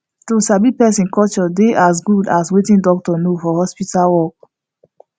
to sabi person culture dey as good as wetin doctor know for hospital work